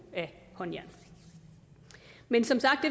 af håndjern men som sagt